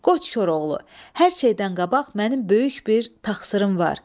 Qoç Koroğlu, hər şeydən qabaq mənim böyük bir taqsırım var.